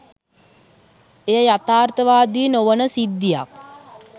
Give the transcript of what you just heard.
එය යථාර්ථවාදී නොවන සිද්ධියක්